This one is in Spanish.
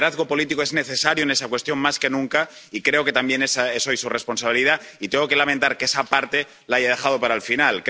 Su liderazgo político es necesario en esa cuestión más que nunca, y creo que también esa es hoy su responsabilidad, y tengo que lamentar que esa parte la haya dejado para el final.